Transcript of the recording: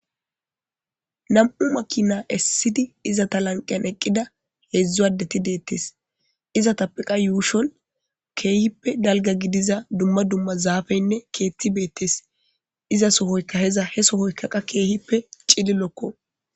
Nam7u makinaa essidi iza ta lanqeyan eqqida heedzdzu addeti deettes iza tappiqa yuushol keehippe dalga gidiza dumma dumma zaafeynne keetti beettes iza sohoyka heza he sohoyka qa keehippe cillilokko.